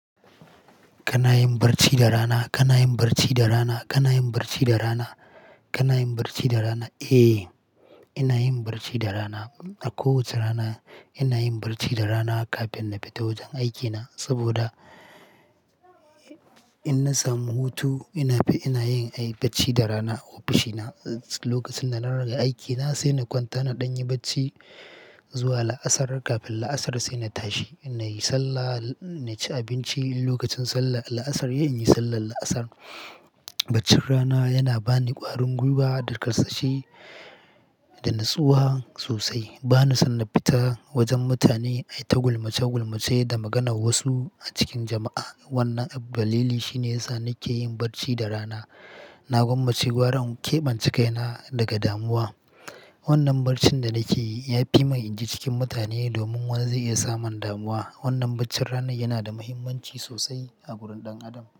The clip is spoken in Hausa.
Kana yin barci da rana? Kana yin barci da rana? Kana yin barci da rana? Kana yin barci da rana? Eh, ina yin barci da rana. A kowace rana, ina yin barci da rana kafin na fita wajen aikina, saboda, in na samu hutu, ina fi, ina yin, ai, bacci da rana a ofishina, Lokacin da na rage aiki na, sai na kwanta naɗan yi bacci zuwa la'asar, Kafin la'asar sai na tashi, in na yi sallah, na ci abinci, Lokacin sallar la'asar yayi, in yi sallar la'asar. Baccin rana yana ba ni ƙwarin gwiwa da karsashi da natsuwa sosai. Ba ni san na fita wajen mutane ai ta gulmace-gulmace da maganar wasu a cikin jama'a. Wannan dalili shine yasa nake yin barci da rana. Na gwammace gwara in keɓance kaina daga damuwa. Wannan barcin da nake yi ya fi mani in je cikin mutane domin wani zai iya samun damuwa. Wannan bacci ranai yana da mahimmanci sosai a gurin ɗan Adam.